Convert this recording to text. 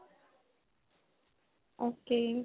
ok.